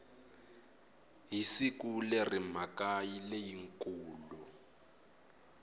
hi siku leri mhaka leyikulu